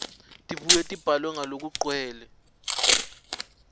tibuye tibhalwe ngalokugcwele